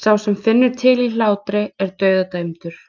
sá sem finnur til í hlátri er dauðadæmdur.